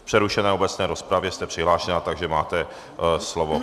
V přerušené obecné rozpravě jste přihlášena, takže máte slovo.